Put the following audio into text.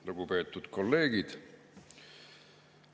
Lugupeetud kolleegid!